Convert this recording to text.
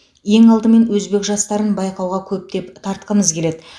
ең алдымен өзбек жастарын байқауға көптеп тартқымыз келеді